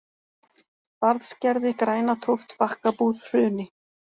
Barðsgerði, Grænatóft, Bakkabúð, Hruni